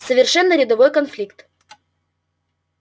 совершенно рядовой конфликт